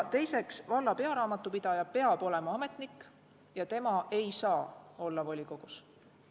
Teiseks, valla pearaamatupidaja peab olema ametnik ja tema ei saa volikogus olla.